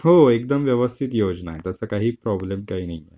हो एकदम व्यवस्थित योजना आहे. तसं काही प्रॉब्लेम काही नाहीये.